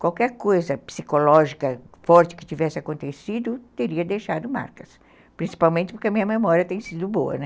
Qualquer coisa psicológica forte que tivesse acontecido teria deixado marcas, principalmente porque a minha memória tem sido boa.